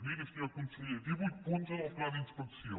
miri senyor conseller divuit punts en el pla d’inspecció